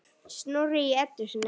Snorri í Eddu sinni.